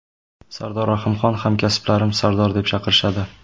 Sardor Rahimxon: Hamkasblarim Sardor deb chaqirishadi.